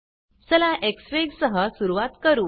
चला एक्सफिग सह सुरूवात करू